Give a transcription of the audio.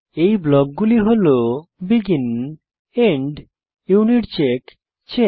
এই ব্লকগুলি হল বেগিন এন্ড ইউনিটচেক চেক